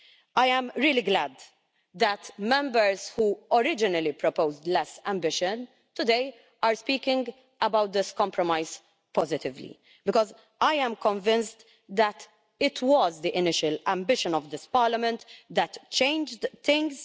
I am really glad that Members who originally proposed less ambition today are speaking about this compromise positively, because I am convinced that it was the initial ambition of this Parliament that changed things.